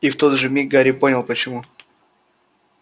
и в тот же миг гарри понял почему